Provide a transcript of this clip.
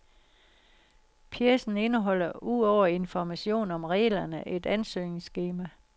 Pjecen indeholder ud over information om reglerne et ansøgningsskema.